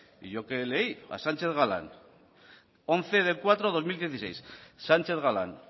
y yo qué leí a sánchez galán once cuatro dos mil dieciséis sánchez galán